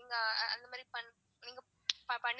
நீங்க அந்த மாரி நீங்க பண்ணி.